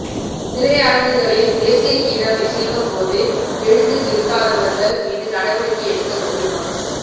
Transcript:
திரையரங்குகளில் தேசியகீதம் இசைக்கும்போது எழுந்து நிற்காதவர்கள் மீது நடவடிக்கை எடுக்கக்கோரி மனு